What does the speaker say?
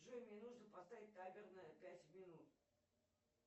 джой мне нужно поставить таймер на пять минут